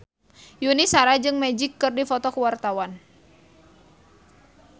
Yuni Shara jeung Magic keur dipoto ku wartawan